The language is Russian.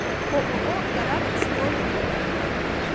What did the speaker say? ооо гарант строй фото